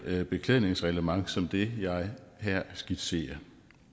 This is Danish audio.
beklædningsreglement som det jeg her skitserer